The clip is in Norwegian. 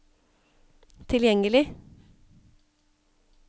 tilgjengelig